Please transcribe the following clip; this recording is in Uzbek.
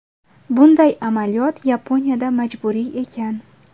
Bunday amaliyot Yaponiyada majburiy ekan.